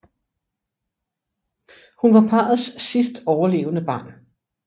Hun var parrets sidst overlevende barn